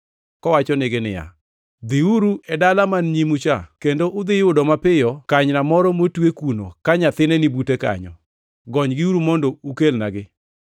kowachonegi niya, “Dhiuru e dala man nyimu cha kendo udhi yudo mapiyo kanyna moro motwe kuno ka nyathine ni bute kanyo; gonygiuru mondo ukelnagi.